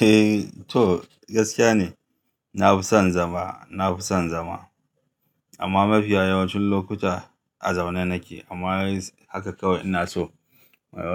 Eh to gaskiya ne, na fi son zama, na fi son zama. Amma mafi yawancin lokuta a zaune nake amma haka kawai ina so